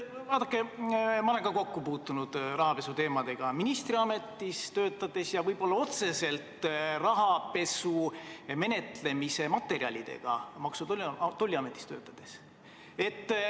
Vaadake, ma olen ka ministriametis töötades rahapesu teemadega kokku puutunud, võib-olla otseselt rahapesu menetlemise materjalidega puutusin kokku Maksu- ja Tolliametis töötades.